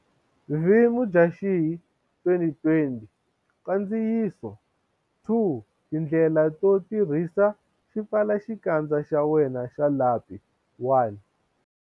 vMudyaxihi 2020 Nkandziyiso 2Tindlela to tirhisa xipfalaxikandza xa wena xa lapi1.